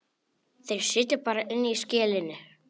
Þeir sitja bara inni í skelinni.